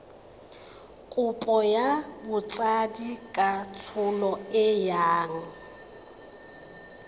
kopo ya botsadikatsholo e yang